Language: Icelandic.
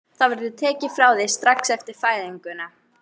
Það verður tekið frá þér strax eftir fæðinguna.